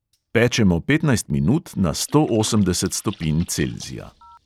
Pečemo petnajst minut na sto osemdeset stopinj celzija.